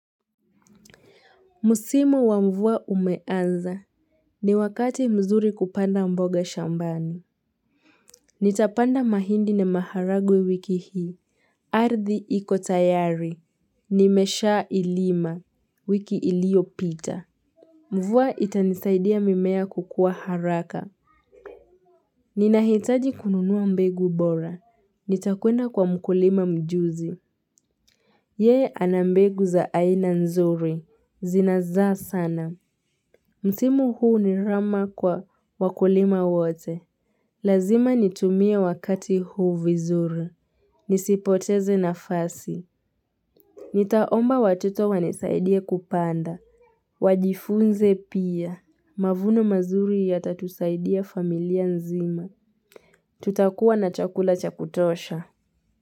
Musimu wa mvua umeanza, ni wakati mzuri kupanda mboga shambani. Nitapanda mahindi na maharagwe wiki hii. Ardhi iko tayari, nimeshailima, wiki iliyopita. Mvua itanisaidia mimea kukua haraka. Ninahitaji kununua mbegu bora, nitakwenda kwa mkulima mjuzi. Yeye ana mbegu za aina nzuri, zinazaa sana. Mtimu huu ni rama kwa wakulima wote. Lazima nitumie wakati huu vizuri. Nisipoteze nafasi. Nitaomba watoto wanisaidie kupanda. Wajifunze pia. Mavuno mazuri yatatusaidia familia nzima. Tutakuwa na chakula cha kutosha.